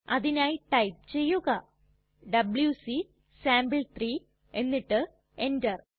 അതിനായി ടൈപ്പ് ചെയ്യുക WC sample three എന്നിട്ട് എന്റർ